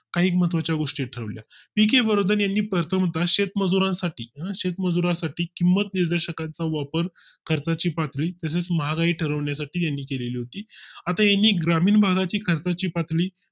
काही मह्त्वाच्या गोष्टी ठरवल्या. पि के वर्धन यांनी प्रतमतः शेतमजुरांसाठी शेतमजुरांसाठी किंमत निर्देशकांचा वापर करता ची पातळी तसेच महागाई ठरवण्या साठी त्यांनी केलेली होती आता आणि ग्रामीण भागा ची खर्चाची पातळी